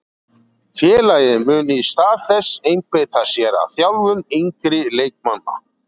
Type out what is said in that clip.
Félagið mun í stað þess einbeita sér að þjálfun yngri leikmanna.